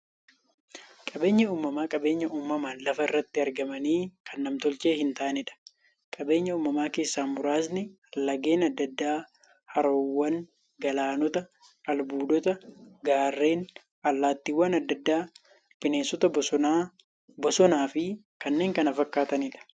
Qaabeenyi uumamaa qabeenya uumamaan lafa irratti argamanii, kan nam-tolchee hintaaneedha. Qabeenya uumamaa keessaa muraasni; laggeen adda addaa, haroowwan, galaanota, albuudota, gaarreen, allattiiwwan adda addaa, bineensota bosonaa, bosonafi kanneen kana fakkataniidha.